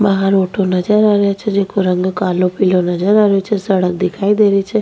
बहार ऑटो नजर आवे छे जिंको रंग कालो पिलो नजर आ रियो छे सडक दिखाई दे रही छे।